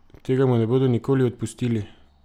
Tega mu ne bodo nikoli odpustili!